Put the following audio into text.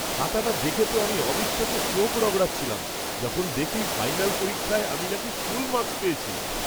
খাতাটা দেখে তো আমি অবিশ্বাসে চোখ রগড়াচ্ছিলাম, যখন দেখি ফাইনাল পরীক্ষায় আমি নাকি ফুল মার্কস পেয়েছি!